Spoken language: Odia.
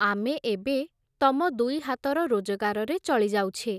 ଆମେ ଏବେ, ତମ ଦୁଇ ହାତର ରୋଜଗାରରେ ଚଳିଯାଉଛେ ।